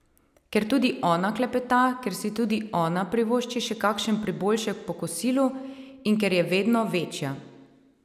Ker tudi ona klepeta, ker si tudi ona privošči še kakšen priboljšek po kosilu in ker je vedno večja.